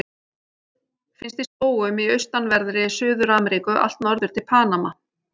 Finnst í skógum í austanverðri Suður-Ameríku allt norður til Panama.